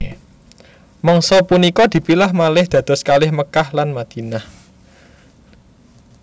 Mangsa punika dipilah malih dados kalih Mekkah lan Madinah